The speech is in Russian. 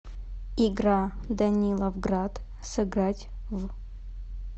игра даниловград сыграть в